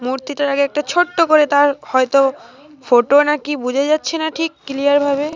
মূর্তিটার আগে একটা ছোট্ট করে তার হয়তো ফটো নাকি বুঝা যাচ্ছে না ঠিক ক্লিয়ার ভাবে।